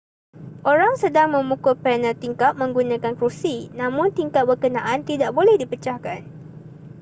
orang sedang memukul panel tingkap menggunakan kerusi namun tingkap berkenaan tidak boleh dipecahkan